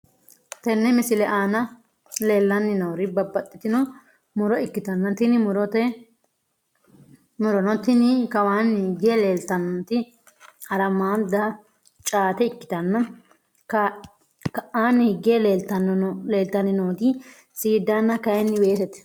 Tenne misile aana leellanni noori babbaxxitino muro ikkitanna tini murono tini kawaanni higge leellitannoti harammadda caate ikkitanna ka'aanni higge leeltanni nooti seeddaanna kayni weesete.